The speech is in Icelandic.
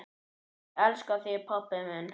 Ég elska þig pabbi minn.